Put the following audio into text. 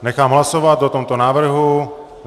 Nechám hlasovat o tomto návrhu.